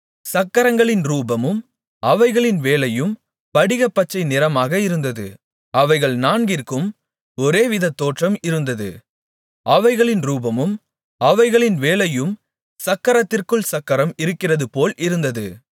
சக்கரங்களின் ரூபமும் அவைகளின் வேலையும் படிகப்பச்சை நிறமாக இருந்தது அவைகள் நான்கிற்கும் ஒரேவித தோற்றம் இருந்தது அவைகளின் ரூபமும் அவைகளின் வேலையும் சக்கரத்திற்குள் சக்கரம் இருகிறதுபோல் இருந்தது